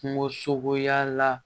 Kungo sogoya la